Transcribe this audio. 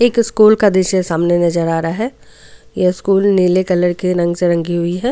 एक स्कूल का दिशा सामने नजर आ रहा है ये स्कूल नीले कलर के रंग से रंगी हुई है.